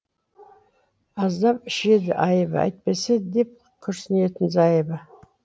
аздап ішеді айыбы әйтпесе деп күрісінетін зайыбы